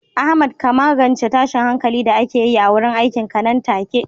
Ahmad ka magance tashin hankalin da ake yi a wurin aikinka nan take.